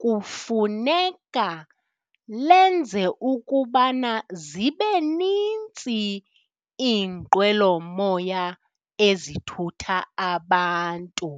kufuneka lenze ukubana zibe nintsi iinqwelomoya ezithutha abantu.